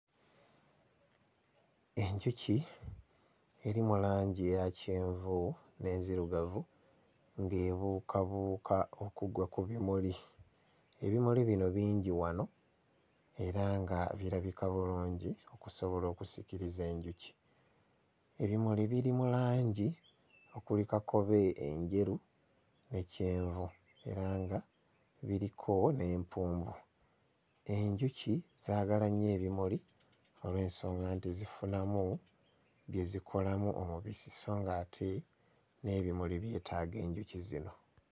Enjuki eri mu langi eya kyenvu n'enzirugavu ng'ebuukabuuka okugwa ku bimuli, ebimuli bino bingi wano era nga birabika bulungi okusobola okusikiriza enjuki. Ebimuli biri mu langi okuli kakobe, enjeru ne kyenvu era nga biriko n'empumbu. Enjuki zaagala nnyo ebimuli olw'ensonga nti zifunamu bye zikolamu omubisi sso ng'ate n'ebimuli byetaaga enjuki zino.